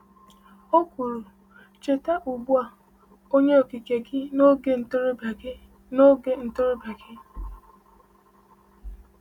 O kwuru: “Cheta ugbu a Onye Okike gị n’oge ntorobịa gị n’oge ntorobịa gị.”